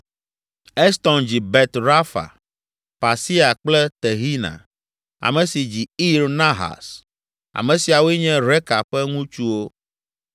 Eston dzi Bet Rafa, Pasea kple Tehina, ame si dzi Ir Nahas. Ame siawoe nye Reka ƒe ŋutsuwo.